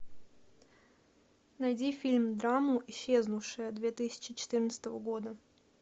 найди фильм драму исчезнувшая две тысячи четырнадцатого года